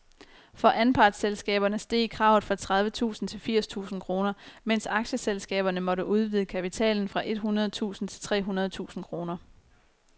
For anpartsselskaberne steg kravet fra tredive tusind til firs tusind kroner, mens aktieselskaberne måtte udvide kapitalen fra et hundrede tusind til tre hundrede tusind kroner.